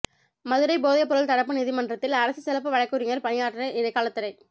மதுரை போதைப் பொருள் தடுப்பு நீதிமன்றத்தில் அரசு சிறப்பு வழக்குரைஞா் பணியாற்ற இடைக்காலத் தடை